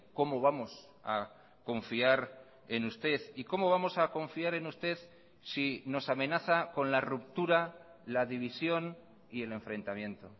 cómo vamos a confiar en usted y cómo vamos a confiar en usted si nos amenaza con la ruptura la división y el enfrentamiento